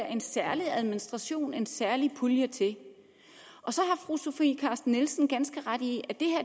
en særlig administration en særlig pulje til fru sofie carsten nielsen ganske ret i at